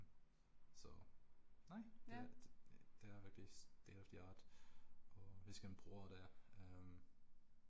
Så nej, det det er virkelig state of the art og vi skal bruge det øh